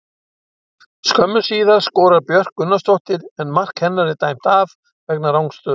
Skömmu síðar skorar Björk Gunnarsdóttir en mark hennar er dæmt af vegna rangstöðu.